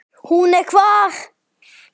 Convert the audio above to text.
Hún er hvað.